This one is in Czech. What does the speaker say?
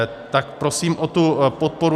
Tak prosím o tu podporu.